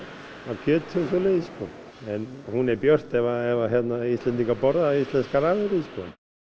kjöti og svoleiðis sko en hún er björt ef Íslendingar borða íslenskar afurðir sko